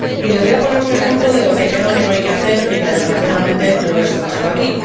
Les voy a poner un ejemplo de lo que creo que no hay que hacer y que, desgraciadamente, he escuchado aquí.